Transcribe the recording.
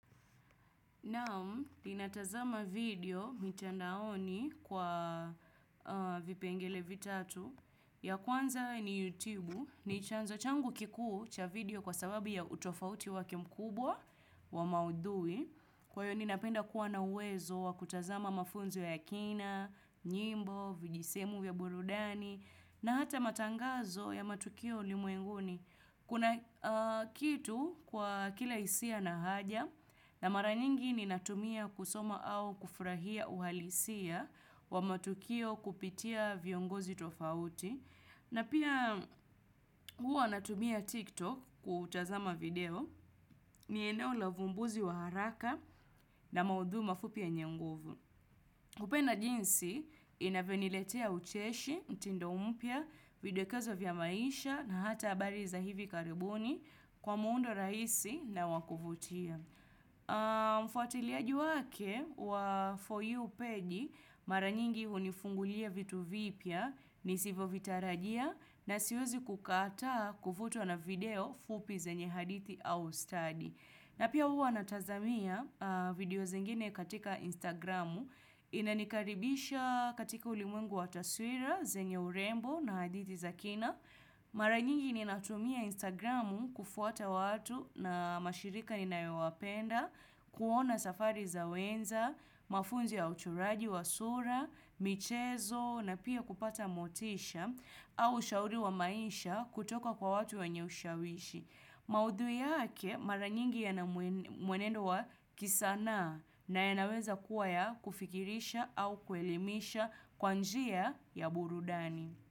Naam, ninatazama video mitandaoni kwa vipengele vitatu. Ya kwanza ni YouTube, ni chanzo changu kikuu cha video kwa sababu ya utofauti wake mkubwa wa maudhui. Kwa hiyo ninapenda kuwa na wezo wa kutazama mafunzo ya kina, nyimbo, vijisehemu vya burudani, na hata matangazo ya matukio ulimwenguni. Kuna kitu kwa kila hisia na haja na mara nyingi ninatumia kusoma au kufurahia uhalisia wa matukio kupitia viongozi tofauti. Na pia huwa natumia TikTok kutazama video ni eneo la vumbuzi wa haraka na maudhui mafupi yenye nguvu. Kupenda jinsi inavyoniletea ucheshi, mtindo mpya, videkezo vya maisha na hata habari za hivi karibuni kwa muundo rahisi na wa kuvutia. Mfuatiliaji wake wa For You page mara nyingi unifungulia vitu vipya nisivo vitarajia na siwezi kukataa kuvutwa na video fupi zenye hadithi au study. Na pia huwa natazamia video zingine katika Instagramu inanikaribisha katika ulimwengu wa taswira, zenye urembo na hadithi za kina. Mara nyingi ninatumia Instagramu kufuata watu na mashirika ninayo wapenda, kuona safari za wenza, mafunzo ya uchoraji wa sura, michezo na pia kupata motisha au shauri wa maisha kutoka kwa watu wenye ushawishi. Maudhui yake mara nyingi yana mwenendo wa kisanaa na yanaweza kuwa ya kufikirisha au kuelimisha kwa njia ya burudani.